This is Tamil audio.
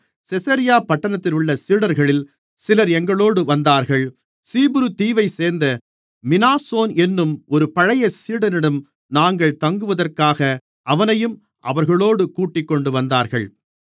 செசரியா பட்டணத்திலுள்ள சீடர்களில் சிலர் எங்களோடு வந்தார்கள் சீப்புரு தீவைச்சேர்ந்த மினாசோன் என்னும் ஒரு பழைய சீடனிடம் நாங்கள் தங்குவதற்காக அவனையும் அவர்களோடு கூட்டிக்கொண்டுவந்தார்கள்